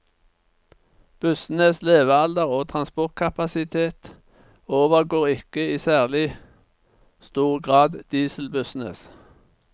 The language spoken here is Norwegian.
Bussenes levealder og transportkapasitet overgår ikke i særlig stor grad dieselbussenes.